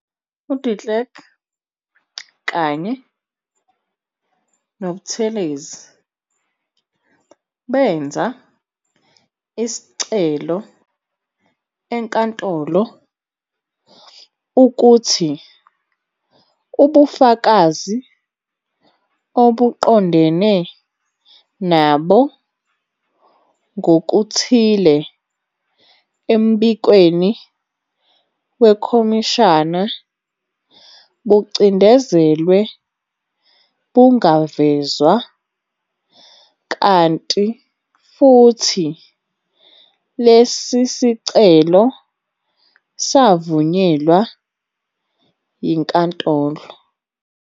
UDe Klerk kanye noButhelezi benza isicelo enkantolol ukuthi ubufakazi obuqondene nabo kokuthile embikweni wekhomishana bucindezelwe bungavezwa, kanti futhi lesi sicelo savunyelwa yinkantolo.